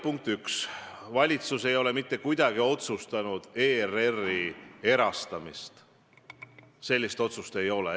Punkt 1, valitsus ei ole mitte kuidagi ERR-i erastamist otsustanud, sellist otsust ei ole.